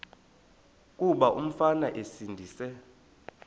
kuba umfana esindise